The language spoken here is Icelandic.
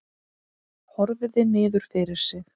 Horfði niður fyrir sig.